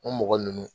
O mɔgɔ ninnu